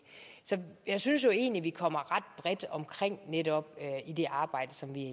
så jeg synes egentlig vi kommer ret bredt omkring netop i det arbejde som vi